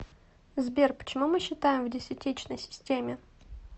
сбер почему мы считаем в десятичной системе